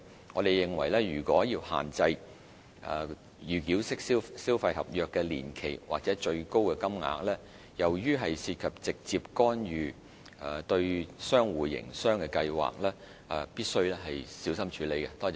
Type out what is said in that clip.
我們認為如要限制預繳式消費合約的年期或最高金額，由於涉及直接干預對商戶營運計劃，必須小心處理。